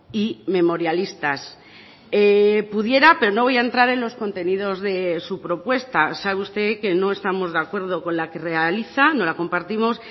y memorialistas pudiera pero no voy a entrar en los contenidos de su propuesta sabe usted que no estamos de acuerdo con la que realiza no la compartimos